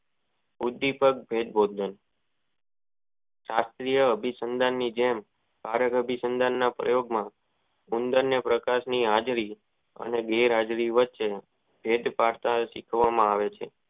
ઉંચી પેડ આ અભી સંદર ની જોડ ભારે આભી સંદ ની જોડ માં ઉંદર ના પ્રકાર ન હાજરી અને ગેર હાજરી વચ્ચે ગઈ પાટા ઓ શીખવા માં આવે છે.